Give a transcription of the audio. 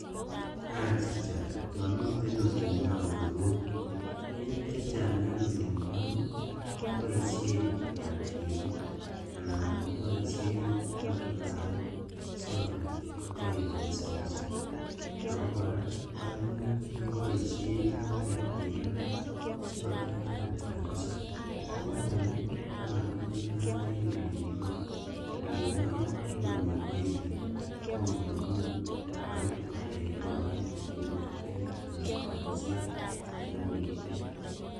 Achica momiten olinyon koroi bik chechang en olinyon koboishen kibatinik anan koboishen matubaruk sikobit kotech kanisoshek, ako koraa koimuch keboishen menet bik alak sikotech okot kanisa kokoroi komabitunat en olinyon, olinyon kotokomi ngweny bik tom komuch koit kotech korik cheuchutet anan kaniset neunitet.